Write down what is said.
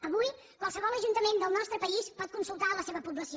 avui qualsevol ajuntament del nostre país pot consultar la seva població